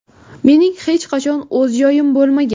Mening hech qachon o‘z joyim bo‘lmagan.